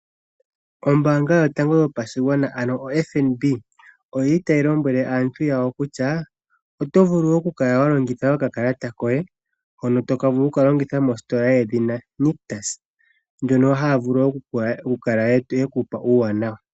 Ombaanga yotango yopashigwana ano o FNB otayi lombwele aantu yawo kutya oto vulu oku kala wa longitha oka Kalata koye. Hono to vulu oku ka longitha mositola yedhina Nictus mono haya vulu oku kala ye ku pa uuwanawa.